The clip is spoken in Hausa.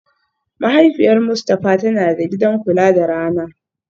Mahaifiyar Mustafa tana da gidan kula da rana